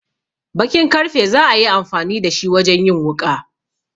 Bakin karfe za a yi amfani da shi wajen yin wuƙa.